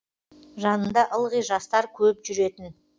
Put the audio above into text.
жанында ылғи жастар көп жүретін